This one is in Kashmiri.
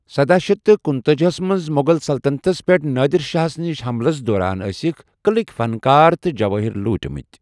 سداہ شیتھ تہٕ کنُتاجی ہَس منٛز مُغل سلطنتَس پیٹھ نادِر شاہ نِس حملَس دوران ٲسٕکۍ قٕلٕک فن کار تہٕ جوٲہر لوٗٹمٕتۍ۔